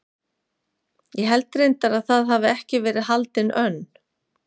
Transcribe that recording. Ég held reyndar að það hafi ekki verið haldin önn